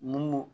Mun